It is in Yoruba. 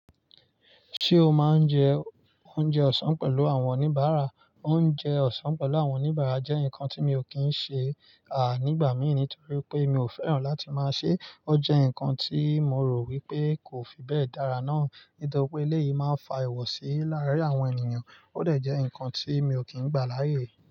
Ṣé o máa ń jẹ oúnjẹ ọ̀sán pẹ̀lú àwọn oníbàárà? Oúnjẹ ọ̀sán pẹ̀lú àwọn oníbàárà jẹ́ nǹkan tí mi ò kí ń ṣe, à nígbà mí nítorí pé mi ò fẹ́ràn láti máa ṣé. Ó jẹ́ nǹkan tí mo rò wípé kò fi bẹ́ẹ̀ dára náà nítorí pé eléyìí máa ń fa ìwọ̀sí láàárín àwọn ènìyàn, óò dẹ̀ jẹ́ nǹkan tí mi ò kí ń gbà láyè.